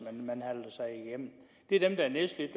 man halter sig igennem det er dem der er nedslidte